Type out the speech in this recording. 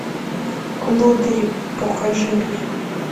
лодыри покажи мне